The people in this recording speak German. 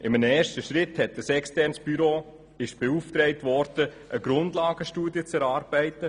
In einem ersten Schritt wurde ein externes Büro mit der Erarbeitung einer Grundlagenstudie beauftragt.